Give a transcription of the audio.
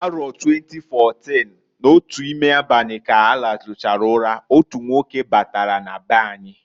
N'aro 2014, n'otu ime abani, k'alabachagolu ura, otu nwoke batara na beanyi.